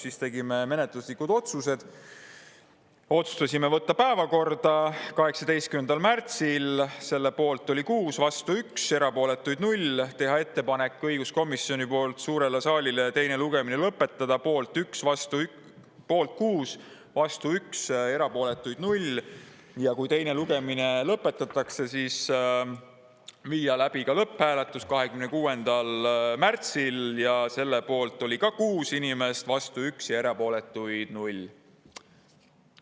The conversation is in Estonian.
Siis tegime menetluslikud otsused: võtta päevakorda 18. märtsil, selle poolt oli 6, vastu 1, erapooletuid 0; teha õiguskomisjoni poolt suurele saalile ettepanek teine lugemine lõpetada, selle poolt oli 6, vastu 1, erapooletuid 0; kui teine lugemine lõpetatakse, siis viia läbi lõpphääletus 26. märtsil, selle poolt oli ka 6 inimest, vastu 1 ja erapooletuid 0.